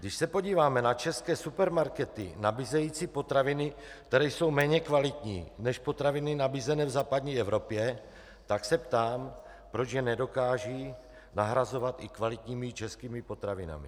Když se podíváme na české supermarkety nabízející potraviny, které jsou méně kvalitní než potraviny nabízené v západní Evropě, tak se ptám, proč je nedokážou nahrazovat i kvalitními českými potravinami.